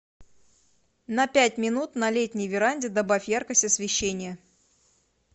на пять минут на летней веранде добавь яркость освещения